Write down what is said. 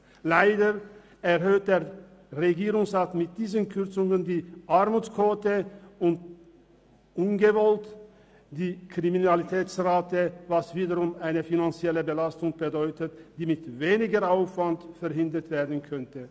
Leider erhöht der Regierungsrat mit diesen Kürzungen die Armutsquote und ungewollt die Kriminalitätsrate, was wiederum eine finanzielle Belastung bedeutet, die mit weniger Aufwand verhindert werden könnte.